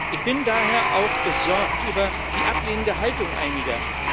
Ich bin daher auch besorgt über die ablehnende Haltung einiger.